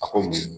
A ko